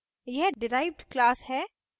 यह derived class है